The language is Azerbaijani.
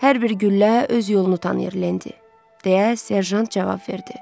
Hər bir güllə öz yolunu tanıyır, Lendi, deyə serjant cavab verdi.